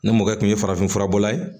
Ne mɔkɛ kun ye farafinfura bɔlan ye